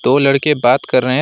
दो लड़के बात कर रहे हैं।